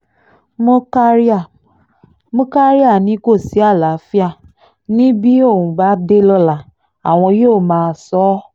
murkaria murkaria ni kò sí àlàáfíà ni bí òun bá dé lọ́la àwọn yóò máa sọ ọ́